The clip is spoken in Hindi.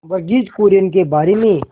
वर्गीज कुरियन के बारे में